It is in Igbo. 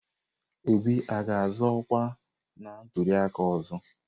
Obi ga-azọ ọkwa na ntuliaka ọzọ?